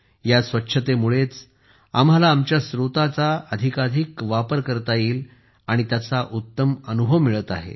या स्वच्छतेमुळेच आम्हाला आमच्या स्रोतांच्या अधिकाधिक वापराचा उत्तम अनुभव मिळत आहे